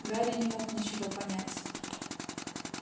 гарри не мог ничего понять